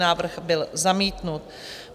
Návrh byl zamítnut.